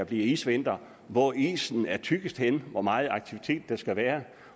bliver isvinter hvor isen er tykkest henne hvor meget aktivitet der skal være